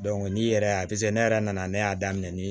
n'i yɛrɛ y'a ne yɛrɛ nana ne y'a daminɛ ni